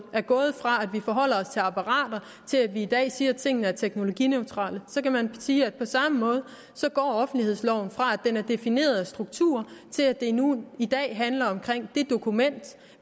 er gået fra at vi forholder os til apparater til at vi i dag siger at tingene er teknologineutrale kan man sige at offentlighedsloven går fra at den er defineret af strukturer til at det nu i dag handler om dokumentet og